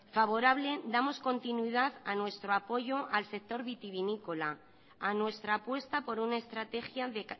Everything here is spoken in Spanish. favorable damos continuidad a nuestro apoyo al sector vitivinícola a nuestra apuesta por una estrategia de